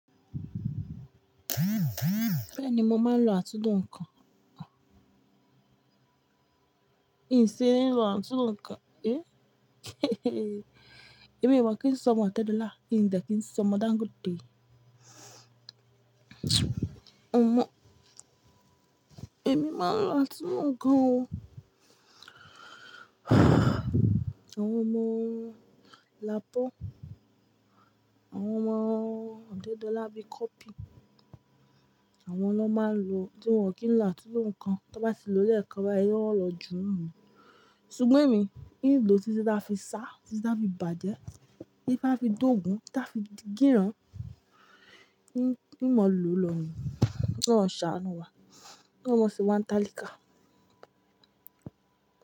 Bẹ́ẹ̀ni mo máa ń lo àtúnlò nǹkan, n ṣe ní ń lo àtúnlò nǹkan, ẹ́. Èmi ò mọ̀ kí n s'ọmọ ọ̀tẹ́dọ̀la in de kí n s'ọmọ Dangote. O mọ̀, èmi máa ń lo àtúnlò nǹkan o. Àwọn ọmọ Lapo, àwọn ọmọ ọ̀tẹ́dọ̀la bi cuppy, àwọn lọ máa ń lo, tí wọn kì í lo àtúnlò nǹkan, tí wọ́n bá ti lọ léẹ̀kan báyi, wọ́n ó lọ jù nú ni. Sùgbọ́n èmi, ìn lo títi ta fi sá, títa fi bàjẹ́, títa fi dógùn, títa fi di gíran, íń mọ̀ ló ló ń rìn. Koloun ṣàánú wa, koloun mọ̀ sewa n talika.